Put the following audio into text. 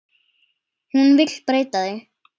Hún vill breyta því.